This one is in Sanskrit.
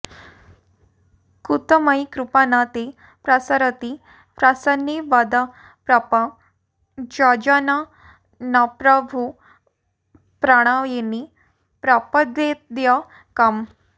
कुतो मयि कृपा न ते प्रसरति प्रसन्ने वद प्रपञ्चजननप्रभुप्रणयिनि प्रपद्येऽद्य कम्